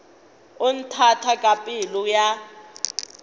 o nthata ka pelo ya